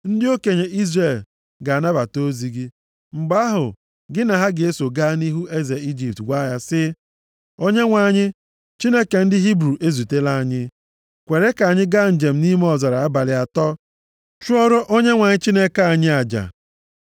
“Ndị okenye Izrel ga-anabata ozi gị. Mgbe ahụ gị na ha ga-eso gaa nʼihu eze Ijipt gwa ya sị, ‘ Onyenwe anyị, Chineke ndị Hibru ezutela anyị. Kwere ka anyị gaa njem nʼime ọzara abalị atọ gaa chụọrọ Onyenwe anyị Chineke anyị aja.’